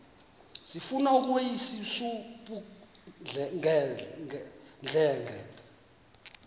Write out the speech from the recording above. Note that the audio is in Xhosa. sifuna ukweyis ubudenge